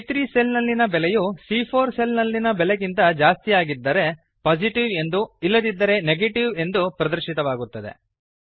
ಸಿಎ3 cell ನಲ್ಲಿನ ಬೆಲೆಯು ಸಿಎ4 ಸೆಲ್ ನಲ್ಲಿನ ಬೆಲೆಗಿಂತ ಜಾಸ್ತಿಯಾಗಿದ್ದೆರೆ Positiveಎಂದೂ ಇಲ್ಲದಿದ್ದರೆ ನೆಗೇಟಿವ್ ಎಂದೂ ಪ್ರದರ್ಶಿತವಾಗುತ್ತದೆ